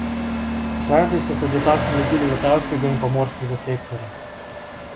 Poslanci so se dotaknili tudi letalskega in pomorskega sektorja.